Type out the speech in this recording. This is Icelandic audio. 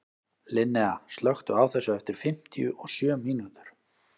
Linnea, slökktu á þessu eftir fimmtíu og sjö mínútur.